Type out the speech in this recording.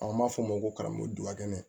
An b'a fɔ o ma ko karamɔgɔ dukɛnɛ